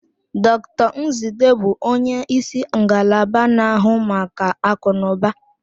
Dr Nzidee bụ onye isi ngalaba na-ahụ maka akụnụba.